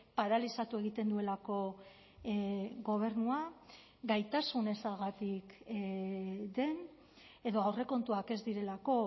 paralizatu egiten duelako gobernua gaitasun ezagatik den edo aurrekontuak ez direlako